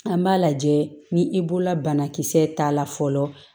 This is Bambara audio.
An b'a lajɛ ni i bolola banakisɛ ta la fɔlɔ